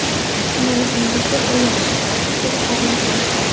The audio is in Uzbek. Kichkinaligingizda bu yaxshi, hatto qiziqarli ham.